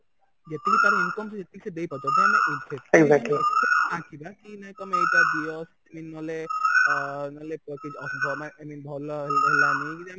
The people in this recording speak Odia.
ଯେତିକି ତାର income ଯେତିକି ସିଏ ଦେଇପାରୁଛି ଯଦି ମାନେ ନାଇ ମାନେ କି ତମେ ଏଇଟା ଦିଅ mean ନହଲେ ଅ ନହଲେ i mean ଭଲ ହେଲା